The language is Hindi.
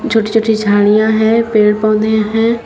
छोटी छोटी झाड़ियां है पेड़ पौधे हैं।